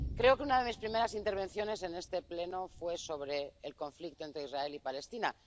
Creo que una de mis primeras intervenciones en este Pleno fue sobre el conflicto entre Israel y Palestina.